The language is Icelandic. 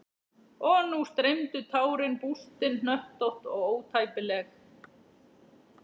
Og nú streymdu tárin, bústin, hnöttótt og ótæpileg.